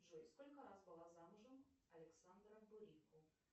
джой сколько раз была замужем александра бурико